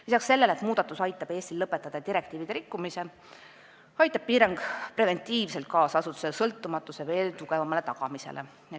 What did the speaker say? Lisaks sellele, et muudatus aitab Eestil lõpetada direktiivide nõuete rikkumise, aitab piirang preventiivselt kaasa asutuse sõltumatuse veel tugevamale tagamisele.